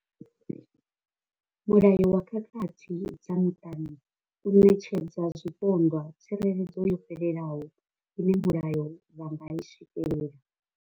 Mulayo wa khakhathi dza muṱani u ṋetshedza zwipondwa tsireledzo yo fhelelaho ine mulayo wa nga i swikela.